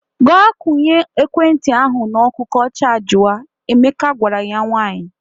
Gaa kwụnya ekwentị ahụ n’ọkụ ka ọ chajịwa! Emeka gwara ya nwaanyị.